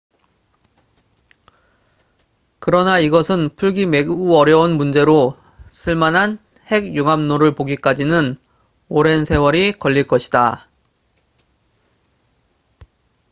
그러나 이것은 풀기 매우 어려운 문제로 쓸만한 핵 융합로를 보기까지는 오랜 세월이 걸릴 것이다